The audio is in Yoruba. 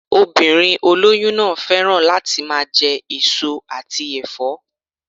Obìnrin olóyún náà féràn láti máa je èso àti èfó